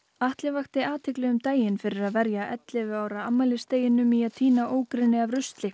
Atli vakti athygli um daginn fyrir að verja ellefu ára afmælisdeginum í að tína ógrynni af rusli